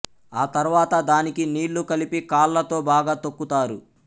ఆ తర్వాత దానికి నీళ్లు కలిపి కాళ్లతో బాగా తొక్కు తారు